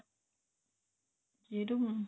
ਫੇਰ ਹੁਣ